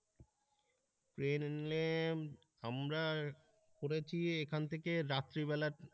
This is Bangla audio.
প্লেনে আমরা করেছি এখান থেকে রাত্রিবেলা